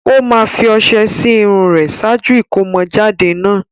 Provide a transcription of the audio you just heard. Ó máa fi ọṣẹ sí irun rẹ̀ ṣáájú ìkómọjáde náà.